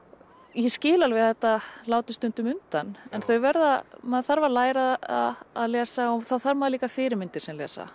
ég skil alveg að þetta láti stundum undan en þau verða maður þarf að læra að lesa og þá þarf maður líka fyrirmyndir sem lesa